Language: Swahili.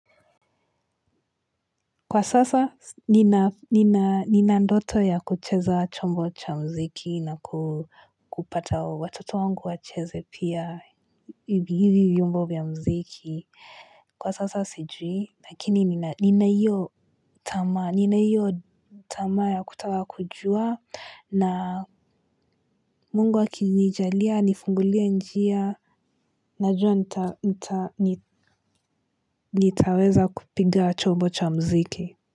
Kwa sasa, nina ndoto ya kucheza chombo cha muziki na kupata watoto wangu wacheze pia hivi vyombo ya muziki. Kwa sasa, sijui, lakini nina hiyo tamaa ya kutaka kujua na mungu akinijalia, anifungulie njia, najua nitaweza kupiga chombo cha muziki.